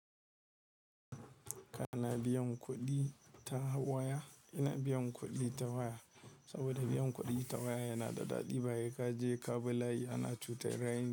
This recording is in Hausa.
Kana biyan kuɗi ta waya? Ina biyan kuɗi ta waya saboda biyan kuɗi ta waya yana da daɗi, ba sai ka je ka bi layi ana cutar raini.